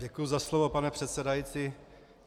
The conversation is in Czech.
Děkuji za slovo, pane předsedající.